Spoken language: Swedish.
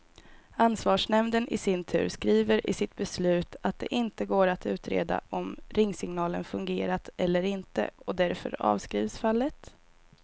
Ansvarsnämnden i sin tur skriver i sitt beslut att det inte går att utreda om ringsignalen fungerat eller inte, och därför avskrivs fallet.